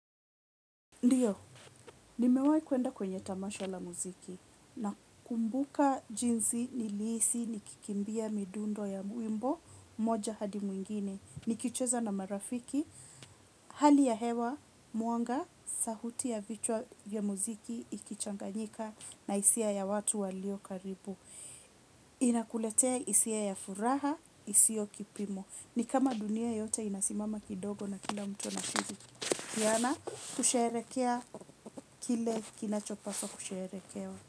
Ndiyo, nimewahi kwenda kwenye tamasha la muziki nakumbuka jinsi nilihisi nikikimbia midundo ya wimbo moja hadi mwingine nikicheza na marafiki hali ya hewa, mwanga, sauti ya vichwa ya muziki ikichanganyika na hisia ya watu waliokaribu inakuletea hisia ya furaha, isio kipimo. Ni kama dunia yote inasimama kidogo na kila mtu anashikiana kusherehekea kile kinachopaswa kusherekewa.